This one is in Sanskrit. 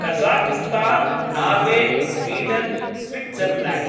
Kazakhstan Norway Sweden Switzerland